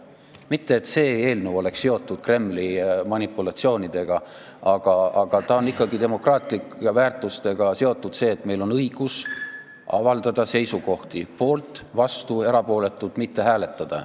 Mitte et see eelnõu oleks seotud Kremli manipulatsioonidega, aga ta on ikkagi demokraatlike väärtustega seotud – see, et meil on õigus avaldada seisukohta, kas "poolt", "vastu", "erapooletu" või mitte hääletada.